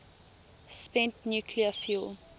spent nuclear fuel